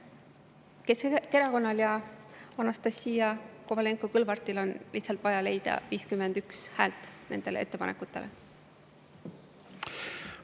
Keskerakonnal ja Anastassia Kovalenko-Kõlvartil on lihtsalt vaja leida 51 häält nende ettepanekute toetuseks.